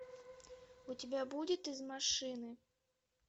у тебя будет из машины